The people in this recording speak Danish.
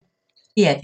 DR P1